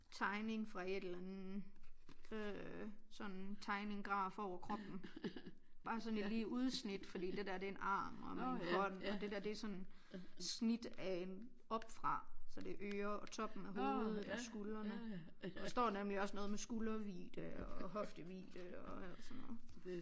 Tegning fra et eller andet øh sådan tegning graf over kroppen bare sådan i lige udsnit fordi det der det en arm og en hånd og det der det sådan snit af en op fra så det øre og toppen og hovedet og skuldrene og der står nemlig også noget med skuldervidde og hoftevidde og alt sådan noget